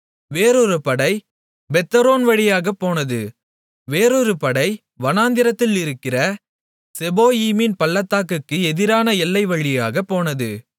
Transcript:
வேறொரு படை பெத்தொரோன் வழியாகப் போனது வேறொரு படை வனாந்தரத்தில் இருக்கிற செபோயீமின் பள்ளத்தாக்குக்கு எதிரான எல்லைவழியாகப் போனது